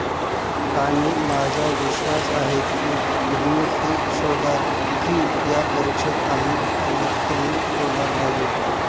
आणि माझा विश्वास आहे की, तुम्ही हे शोधाल की, या परीक्षेत आम्ही अनुत्तीर्ण झालो नाही.